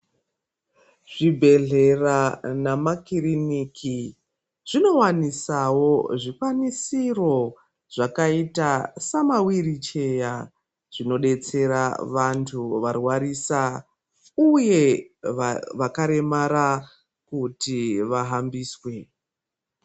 Zvibhedhlera nemakirinika zvinowanisawo zvikwanisiro zvakaita sema wiricheya zvinodetsera vantu varwarisa uye vakaremara kuti vahambiswe.